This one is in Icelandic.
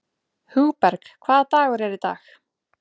Hugberg, hvaða dagur er í dag?